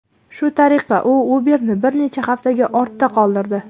Shu tariqa, u Uber’ni bir necha haftaga ortda qoldirdi.